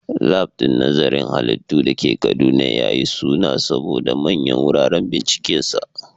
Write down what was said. Lab din nazarin halittu da ke Kaduna ya yi suna saboda manyan wuraren bincikensa.